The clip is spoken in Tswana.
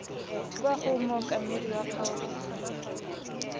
kwa go mookamedi wa kgaolo